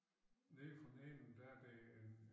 Nede for neden der det en